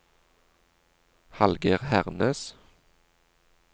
Hallgeir Hernes